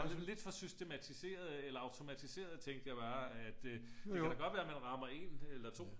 Lidt for systematiseret eller automatiseret tænkte jeg bare at det kan da godt være at man rammer en eller to